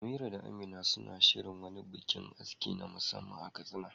Amira da Amina suna shirin wani bikin aski na musamman a Katsina.